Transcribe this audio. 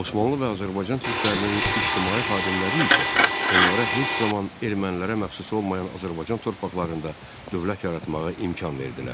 Osmanlı və Azərbaycan türklərinin ictimai xadimləri isə onlara heç zaman ermənilərə məxsus olmayan Azərbaycan torpaqlarında dövlət yaratmağa imkan verdilər.